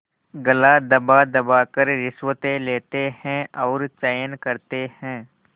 गला दबादबा कर रिश्वतें लेते हैं और चैन करते हैं